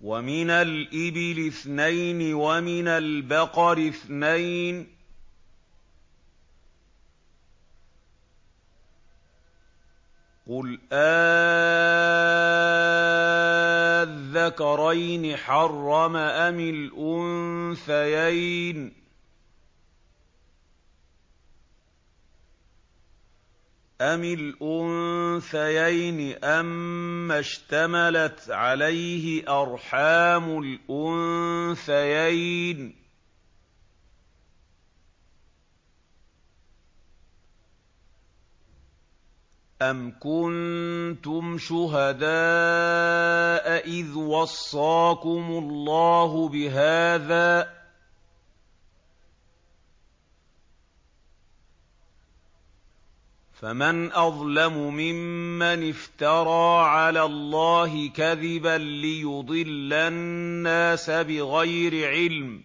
وَمِنَ الْإِبِلِ اثْنَيْنِ وَمِنَ الْبَقَرِ اثْنَيْنِ ۗ قُلْ آلذَّكَرَيْنِ حَرَّمَ أَمِ الْأُنثَيَيْنِ أَمَّا اشْتَمَلَتْ عَلَيْهِ أَرْحَامُ الْأُنثَيَيْنِ ۖ أَمْ كُنتُمْ شُهَدَاءَ إِذْ وَصَّاكُمُ اللَّهُ بِهَٰذَا ۚ فَمَنْ أَظْلَمُ مِمَّنِ افْتَرَىٰ عَلَى اللَّهِ كَذِبًا لِّيُضِلَّ النَّاسَ بِغَيْرِ عِلْمٍ ۗ